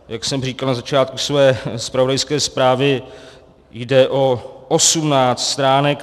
Jak jsem říkal na začátku své zpravodajské zprávy, jde o 18 stránek.